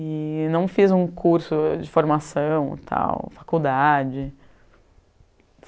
E não fiz um curso de formação e tal, faculdade.